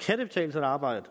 kan det betale sig at arbejde